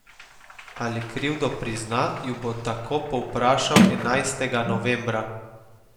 Ali krivdo prizna, ju bo tako povprašal enajstega novembra.